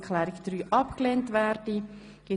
Ich wünsche Ihnen einen guten Appetit.